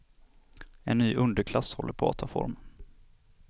En ny underklass håller på att ta form.